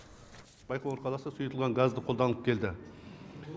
байқоңыр қаласы да сұйылтылған газды қолданып келді